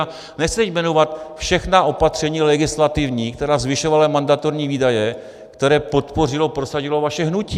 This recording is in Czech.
A nechci teď jmenovat všechna opatření legislativní, která zvyšovala mandatorní výdaje, které podpořilo, prosadilo vaše hnutí.